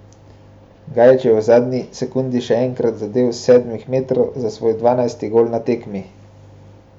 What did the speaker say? Gajić je v zadnji sekundi še enkrat zadel s sedmih metrov za svoj dvanajsti gol na tekmi.